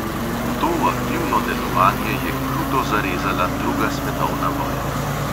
V to aktivno delovanje je kruto zarezala druga svetovna vojna.